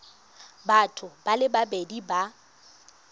batho ba le babedi ba